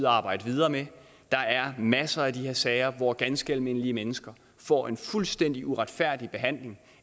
at arbejde videre med der er masser af de her sager hvor ganske almindelige mennesker får en fuldstændig uretfærdig behandling